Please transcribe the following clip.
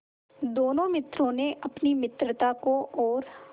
दोनों मित्रों ने अपनी मित्रता को और